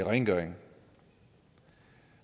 rengøring